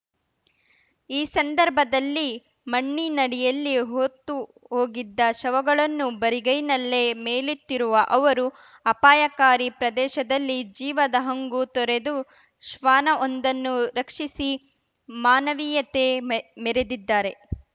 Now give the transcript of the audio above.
ಈ ಸಂದರ್ಭದಲ್ಲಿ ಮಣ್ಣಿನಡಿಯಲ್ಲಿ ಹೂತು ಹೋಗಿದ್ದ ಶವಗಳನ್ನು ಬರಿಗೈನಲ್ಲೇ ಮೇಲೆತ್ತಿರುವ ಅವರು ಅಪಾಯಕಾರಿ ಪ್ರದೇಶದಲ್ಲಿ ಜೀವದ ಹಂಗು ತೊರೆದು ಶ್ವಾನವೊಂದನ್ನು ರಕ್ಷಿಸಿ ಮಾನವೀಯತೆ ಮೆ ಮೆರೆದಿದ್ದಾರೆ